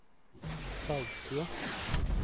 Sagstua